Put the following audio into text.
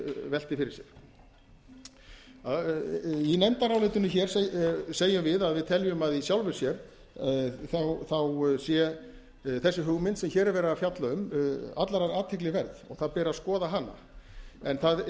velti fyrir sér í nefndarálitinu segjum við að við teljum að í sjálfu sér sé þessi hugmynd sem hér er verið að fjalla um allrar athygli verð og það beri að skoða hana það er